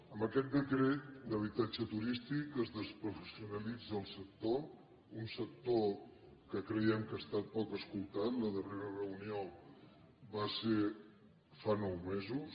amb aquest decret d’habitatge turístic es desprofessionalitza el sector un sector que creiem que ha estat poc escoltat la darrera reunió va ser fa nou mesos